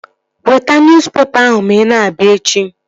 Weta nuspepa ahụ ma ị na-abịa echi!